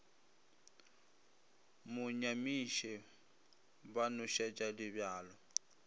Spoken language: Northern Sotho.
mo nyamiše ba nošetša dibjalo